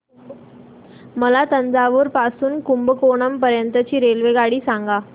मला तंजावुर पासून तर कुंभकोणम पर्यंत ची रेल्वेगाडी सांगा